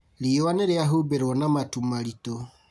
Riũa nĩrĩahumbĩrwo na matu maritũ